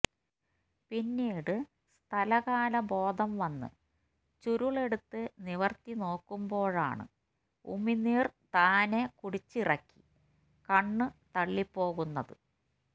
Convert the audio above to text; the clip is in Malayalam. പിന്നീട് സ്ഥലകാല ബോധം വന്ന് ചുരുളെടുത്ത് നിവര്ത്തിനോക്കുമ്പോഴാണ് ഉമിനീര് താനെ കുടിച്ചിറക്കി കണ്ണുതള്ളിപോകുന്നത്